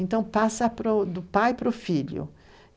Então, passa do pai para o filho.